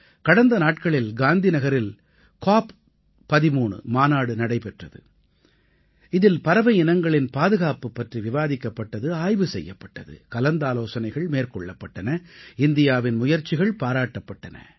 கடந்த நாட்களில் காந்திநகரில் காப் 13 மாநாடு நடைபெற்றது இதில் பறவை இனங்களின் பாதுகாப்பு பற்றி விவாதிக்கப்பட்டது ஆய்வு செய்யப்பட்டது கலந்தாலோசனைகள் மேற்கொள்ளப்பட்டன இந்தியாவின் முயற்சிகள் பாராட்டப்பட்டன